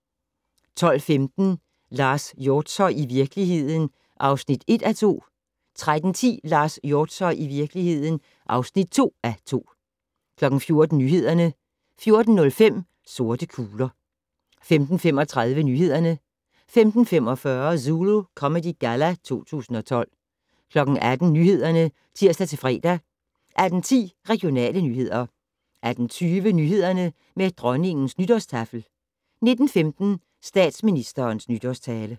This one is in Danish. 12:15: Lars Hjortshøj - I virkeligheden (1:2) 13:10: Lars Hjortshøj - I virkeligheden (2:2) 14:00: Nyhederne 14:05: Sorte kugler 15:35: Nyhederne 15:45: Zulu Comedy Galla 2012 18:00: Nyhederne (tir-fre) 18:10: Regionale nyheder 18:20: Nyhederne med Dronningens nytårstaffel 19:15: Statsministerens nytårstale